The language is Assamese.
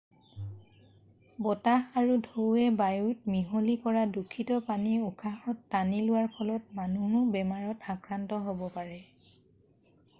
বতাহ আৰু ঢৌৱে বায়ুত মিহলি কৰা দূষিত পানী উশাহত টানি লোৱাৰ ফলত মানুহো বেমাৰত আক্ৰান্ত হ'ব পাৰে